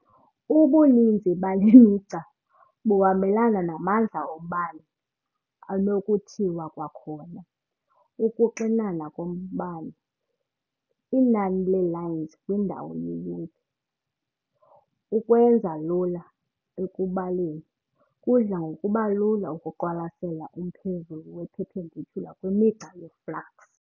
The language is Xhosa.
Ubuninzi bale migca buhambelana namandla ombane, anokuthiwa kwakhona ukuxinana kombane- inani le "lines" kwindawo yeyunithi. Ukwenza lula ekubaleni, kudla ngokuba lula ukuqwalasela umphezulu we-perpendicular kwimigca yeflux.